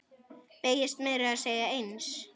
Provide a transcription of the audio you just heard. Beygist meira að segja eins!